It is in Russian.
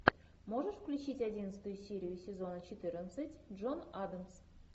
можешь включить одиннадцатую серию сезона четырнадцать джон адамс